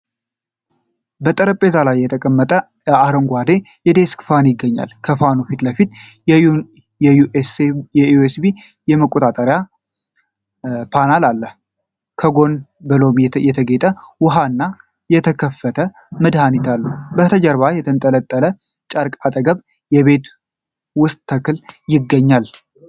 በጠረጴዛ ላይ የተቀመጠ አረንጓዴ የዴስክ ፋን ይገኛል። ከፋኑ ፊት ለፊት የዩኤስቢ መቆጣጠሪያ ፓናል አለ። ከጎን በሎሚ የተጌጠ ውሃና የተከፈተ መጽሔት አሉ። በስተጀርባ በተንጠለጠለ ጨርቅ አጠገብ የቤት ውስጥ ተክል ይገኛል።